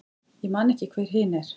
Ég man ekki hver hin er.